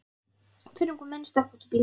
Tveir ungir menn stökkva út úr bílnum.